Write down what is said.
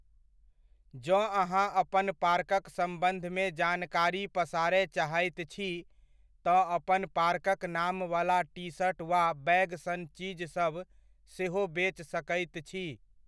जँ अहाँ अपन पार्कक सम्बन्धमे जानकारी पसारय चाहैत छी, तँ अपन पार्कक नामवला टी शर्ट वा बैग सन चीज सभ सेहो बेच सकैत छी।